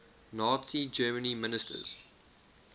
nazi germany ministers